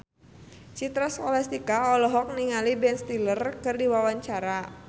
Citra Scholastika olohok ningali Ben Stiller keur diwawancara